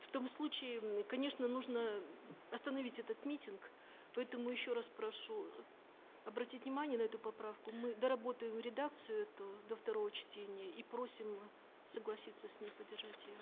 в том случае конечно нужно остановить этот митинг поэтому еще раз прошу обратить внимание на эту поправку мы доработаем редакцию эту до второго чтения и просим согласиться с ней поддержать ее